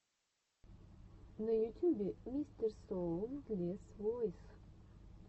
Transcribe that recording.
на ютюбе мистерсоундлесвойс